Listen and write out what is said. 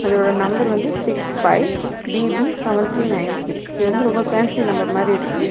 இதோட நம்பர் வந்து six five B B seven three nine three இது வந்து ரொம்ப ஃபேன்சி நம்பர் மாதிரி இருக்கு.